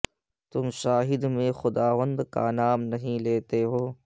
تم شاہد میں خداوند کا نام نہیں لے لو